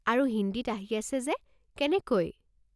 আৰু হিন্দীত আহি আছে যে, কেনেকৈ?